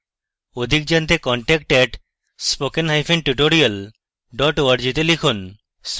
অধিক জানতে contact @spokentutorial org তে লিখুন